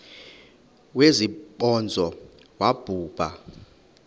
wesibhozo wabhu bha